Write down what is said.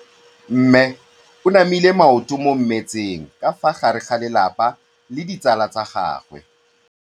Mme o namile maoto mo mmetseng ka fa gare ga lelapa le ditsala tsa gagwe.